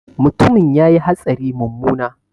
Mutumin ya yi hatsari mummuna